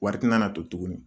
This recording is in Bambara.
Wari ti na na to tuguni.